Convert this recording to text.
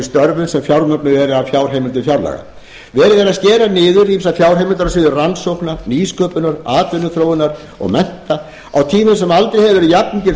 störfum sem fjármögnuð eru af fjárheimildum fjárlaga verið er að skera niður ýmsar fjárheimildir á sviði rannsókna nýsköpunar atvinnuþróunar og mennta á tímum sem aldrei hefur verið jafnmikil